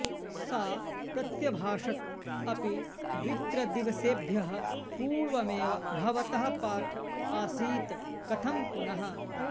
सा प्रत्यभाषत् अपि द्वित्रदिवसेभ्यः पूर्वमेव भवतः पाठ आसीत् कथं पुनः